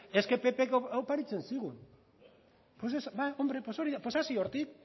es que ppk oparitzen zigun hombre pues hori da pues hasi hortik